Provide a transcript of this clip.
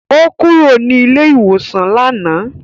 Ó kúrò ní ilé-ìwòsàn lánàá.